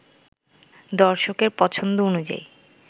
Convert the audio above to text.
দর্শকের পছন্দ অনুযায়ী